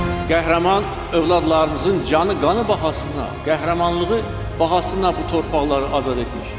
Qəhrəman övladlarımızın canı qanı bahasına qəhrəmanlığı bahasına bu torpaqları azad etmişik.